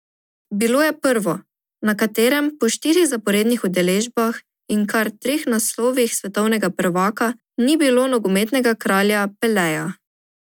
Bilo je prvo, na katerem po štirih zaporednih udeležbah in kar treh naslovih svetovnega prvaka ni bilo nogometnega kralja Peleja.